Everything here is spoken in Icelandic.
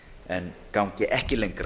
en gangi ekki lengra